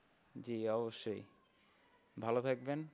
জি অবশ্যই ভালো থাকবেন।